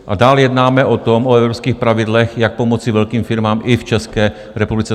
A dál jednáme o tom, o evropských pravidlech, jak pomoci velkým firmám i v České republice.